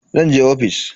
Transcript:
Zan je ofis.